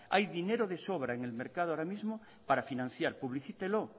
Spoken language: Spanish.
hay dinero de sobra en el mercado ahora mismo para financiar publicítelo